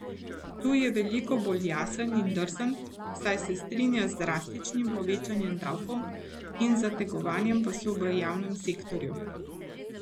Tu je veliko bolj jasen in drzen, saj se strinja z drastičnim povečanjem davkov in zategovanjem pasu v javnem sektorju.